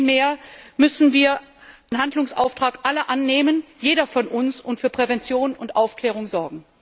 Vielmehr müssen wir den Handlungsauftrag aller annehmen jeder von uns und für Prävention und Aufklärung sorgen.